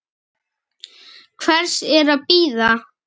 Hvers er að bíða?